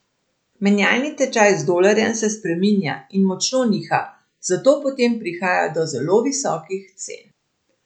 Menjalni tečaj z dolarjem se spreminja in močno niha, zato potem prihaja do zelo visokih cen.